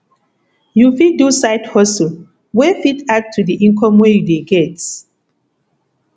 you fit do side hustle wey fit add to di income wey you dey get